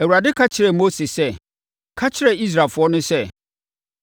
Awurade ka kyerɛɛ Mose sɛ, “Ka kyerɛ Israelfoɔ no sɛ,